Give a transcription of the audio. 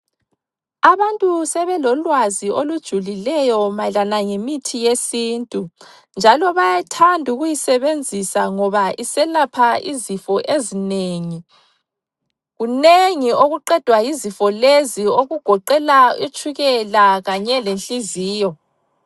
Abantu sebelolwazi olujulileyo mayelana ngemithi yesintu. Njalo bayathanda ukuyisebenzisa ngoba iselapha izifo ezinengi. Kunengi okuqedwa yizifo lezi okugoqela itshukela kanye le nhliziyo.